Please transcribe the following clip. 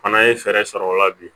Fana ye fɛɛrɛ sɔrɔ o la bi